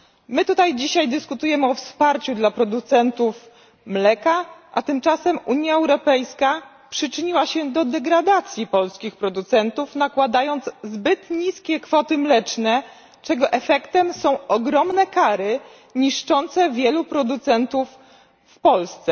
My tutaj dzisiaj dyskutujemy o wsparciu dla producentów mleka, a tymczasem Unia Europejska przyczyniła się do degradacji polskich producentów, nakładając zbyt niskie kwoty mleczne, czego efektem są ogromne kary niszczące wielu producentów w Polsce.